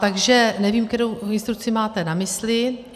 Takže nevím, kterou instrukci máte na mysli.